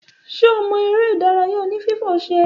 Ṣe ọ mo eré ìdárayá oní fífò ṣẹ